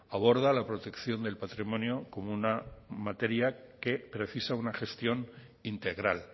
aborda la protección del patrimonio como una materia que precisa una gestión integral